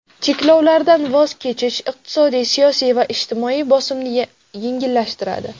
Cheklovlardan voz kechish iqtisodiy, siyosiy va ijtimoiy bosimni yengillashtiradi.